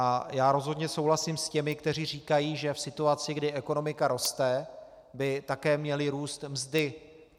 A já rozhodně souhlasím s těmi, kteří říkají, že v situaci, kdy ekonomika roste, by také měly růst mzdy.